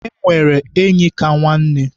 E nwere enyi ka nwanne.